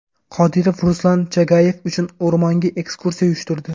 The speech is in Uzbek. Qodirov Ruslan Chagayev uchun o‘rmonga ekskursiya uyushtirdi.